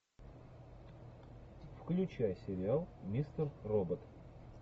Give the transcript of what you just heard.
включай сериал мистер робот